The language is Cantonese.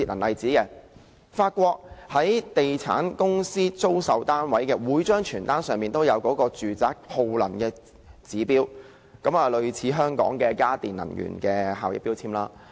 例如在法國，地產公司租售單位時，每張傳單都載有住宅的耗能指標，類似香港的家電能源標籤。